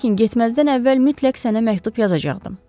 Lakin getməzdən əvvəl mütləq sənə məktub yazacaqdım.